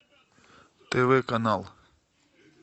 тв канал